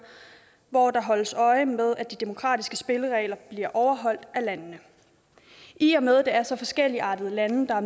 hvor der holdes øje med at de demokratiske spilleregler bliver overholdt af landene i og med er så forskelligartede lande der